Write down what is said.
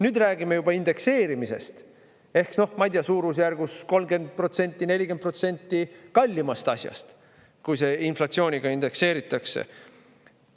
Nüüd räägime juba indekseerimisest ehk, ma ei tea, suurusjärgus 30%, 40% kallimast asjast, kui see inflatsiooniga indekseeritakse.